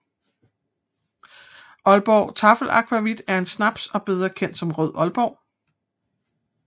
Aalborg Taffel Akvavit er en snaps og bedre kendt som Rød Aalborg